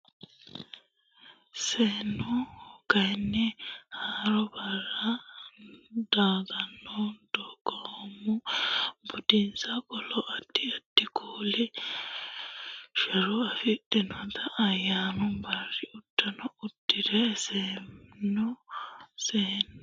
Seenu kayinni haaroo barra daganna dagoomu budinsa qolo addi addi kuuli shura afidhinota ayyaanu barri uddano uddi re seesanno Seenu.